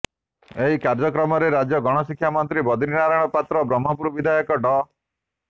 ଏହି କାର୍ଯ୍ୟକ୍ରମରେ ରାଜ୍ୟ ଗଣଶିକ୍ଷା ମନ୍ତ୍ରୀ ବଦ୍ରିନାରାୟଣ ପାତ୍ର ବ୍ରହ୍ମପୁର ବିଧାୟକ ଡ